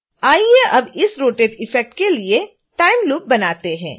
आइए अब इस rotation इफ़ेक्ट के लिए टाइम लूप बनाते हैं